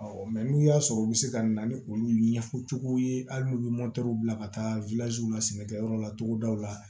n'u y'a sɔrɔ u bɛ se ka na ni olu ɲɛfɔcogow ye hali n'u ye bila ka taa la sɛnɛkɛyɔrɔ la togodaw la